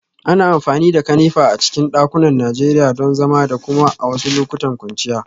Ana amfani da kanefa a cikin dakunan Najeriya don zama da kuma a wasu lokutan kwanciya